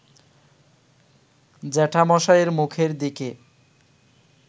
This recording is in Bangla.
জ্যাঠামশায়ের মুখের দিকে